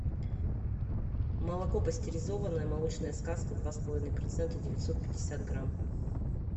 молоко пастеризованное молочная сказка два с половиной процента девятьсот пятьдесят грамм